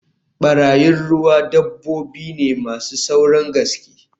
Barayin ruwa dabbobi ne masu saurin gaske